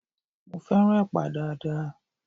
Mo fẹ́ràn Ẹ̀pà dáadáa